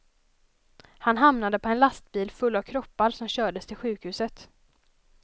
Han hamnade på en lastbil full av kroppar som kördes till sjukhuset.